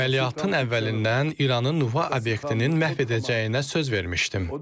Əməliyyatın əvvəlindən İranın nüvə obyektinin məhv edəcəyinə söz vermişdim.